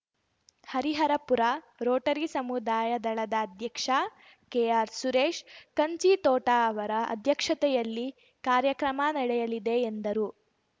Hariharapura Rotary ಸಮುದಾಯ ದಳದ ಅಧ್ಯಕ್ಷ ಕೆಆರ್‌ ಸುರೇಶ್‌ ಕಂಚಿತೋಟ ಅವರ ಅಧ್ಯಕ್ಷತೆಯಲ್ಲಿ ಕಾರ್ಯಕ್ರಮ ನಡೆಯಲಿದೆ ಎಂದರು